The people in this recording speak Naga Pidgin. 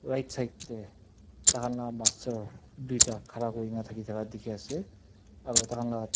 right side te takhan laga master duita khara kori kina thaki thaka dekhi ase aru tar khan laga--